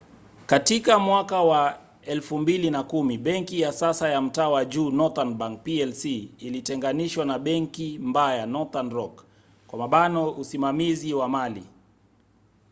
katika mwaka wa 2010 benki ya sasa ya mtaa wa juu northern bank plc ilitenganishwa na ‘benki mbaya’ northern rock usimamizi wa mali